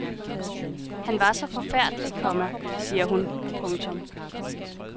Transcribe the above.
Han var så forfærdelig, komma siger hun. punktum